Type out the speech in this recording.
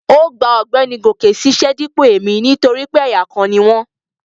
Ó gba ọ̀gbẹ́ni Goke ṣíṣẹ́ dípò èmi nítorí pé ẹ̀yà kan ni wọ́n